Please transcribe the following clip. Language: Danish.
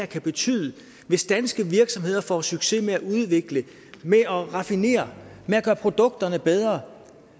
kan betyde hvis danske virksomheder får succes med at udvikle med at raffinere med at gøre produkterne bedre